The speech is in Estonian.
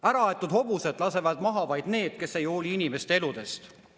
Äraaetud hobuseid lasevad maha vaid need, kes ei hooli inimeste eludest.